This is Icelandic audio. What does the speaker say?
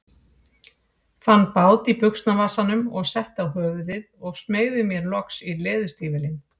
Fann bát í buxnavasanum og setti á höfuðið og smeygði mér loks í leðurstígvélin.